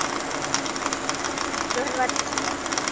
दोन वर्षाची ना